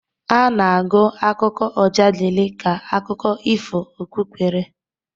A na-agụ akụkọ Ọjadịli ka akụkụ ifo okpukpere